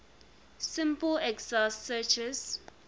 simple exhaustive searches